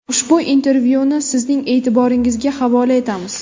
Ushbu intervyuni sizning e’tiboringizga havola etamiz.